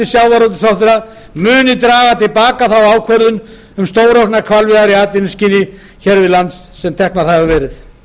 sjávarútvegsráðherra muni draga til baka þá ákvörðun um stórauknar hvalveiðar í atvinnuskyni hér við land sem tekin hefur verið